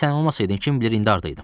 Sən olmasaydın, kim bilir indi hardaydım.